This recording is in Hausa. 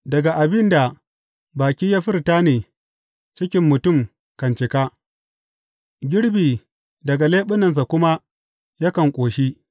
Daga abin da baki ya furta ne cikin mutum kan cika; girbi daga leɓunansa kuma yakan ƙoshi.